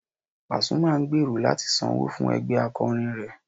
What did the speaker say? Pàsúmà ń gbèrò láti sanwó fún ẹgbẹ́ akọrin rẹ̀